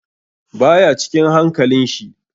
Baya cikin hankalin shi.